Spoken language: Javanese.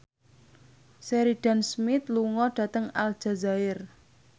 Sheridan Smith lunga dhateng Aljazair